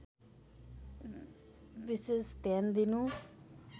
विशेष ध्यान दिनु